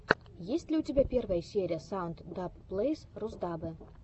есть ли у тебя первая серия саунд даб плэйс русдаббэ